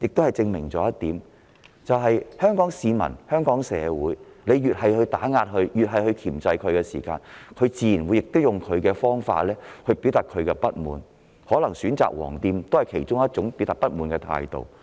這證明了一點，對於香港市民、香港社會，當局越是打壓和箝制，人們越是會以自己的方式表達不滿，選擇"黃店"進行消費可能是其中一種方法。